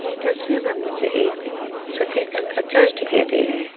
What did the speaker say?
तस्वीर में मुझे एक सफेद रंग का चर्च दिखाई दे रहा है।